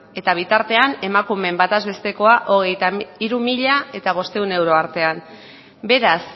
eta bitartean emakumeen bataz bestekoa hogeita hiru mila bostehun euro artean beraz